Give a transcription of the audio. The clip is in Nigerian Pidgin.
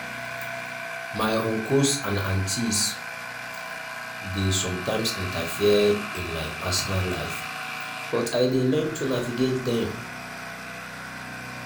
my uncles and aunties dey sometimes interfere in my personal life but i dey learn to navigate dem.